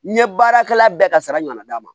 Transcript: N ye baarakɛla bɛɛ ka sara ɲɔgɔnna d'a ma